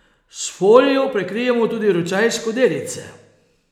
S folijo prekrijemo tudi ročaj skodelice.